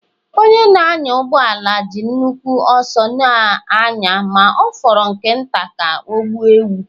Onye na-anya ụgbọ ala ji nnukwu ọsọ na-anya ma ọ fọrọ nke nta ka ọ gbuo ewu.